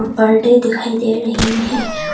परडे दिखाई दे रही है।